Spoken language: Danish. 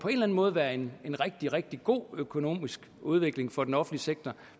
måde være en rigtig rigtig god økonomisk udvikling for den offentlige sektor